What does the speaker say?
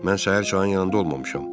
Mən səhər çayın yanında olmamışam.